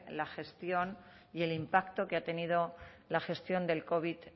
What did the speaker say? la gestión y el impacto que ha tenido la gestión del covid